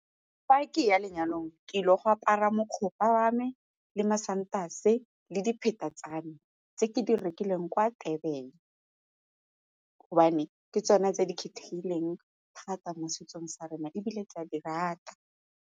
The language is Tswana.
Fa ke ya lenyalong, ke ile go apara wa me le masantase le dipheta tsa me tse ke di rekileng kwa Durban gobane ke tsone tse di kgethegileng thata mo setsong sa rona ebile ke a di rata.